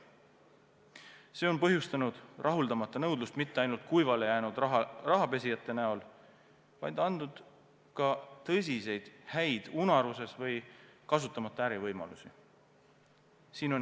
See on põhjustanud rahuldamata nõudlust mitte ainult kuivale jäänud rahapesijate näol, vaid andnud ka häid unaruses või kasutamata ärivõimalusi.